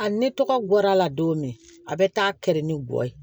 A ni tɔgɔ gɔr'a la don min a bɛ taa kɛrɛ ni gɔyɔ ye